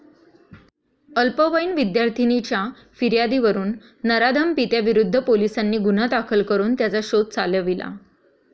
अल्पवयीन विद्यार्थिनीच्या फियार्दीवरून नराधम पित्याविरुद्ध पोलिसांनी गुन्हा दाखल करून त्याचा शोध चालविला.